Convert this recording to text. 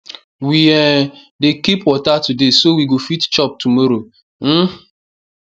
we um dey keep water today so we go fit chop tomorrow um